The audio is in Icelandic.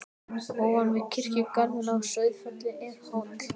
Ofan við kirkjugarðinn á Sauðafelli er hóll.